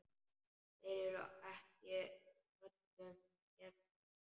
Þeir eru ekki öllum gefnir.